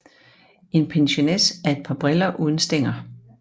En pincenez er et par briller uden stænger